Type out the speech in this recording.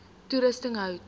toerusting hout